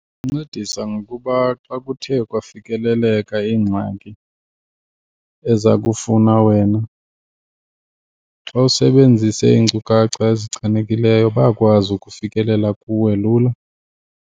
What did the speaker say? Ikuncedisa ngokuba xa kuthe kwafikeleleka ingxaki ezakufuna wena, xa usebenzise iinkcukacha ezichanekileyo bayakwazi ukufikelela kuwe lula.